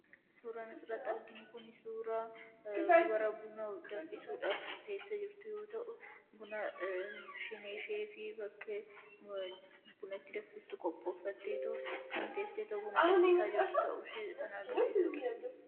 Suuraan asirratti arginu kun suuraa dubara buna danfisuudhaaf teessee jirtu yoo ta'u, buna siinii ishee fi waan buna itti danfistu qopheeffattee kan teesseetoo buna danfisaa jirtu kan agarsiisudha.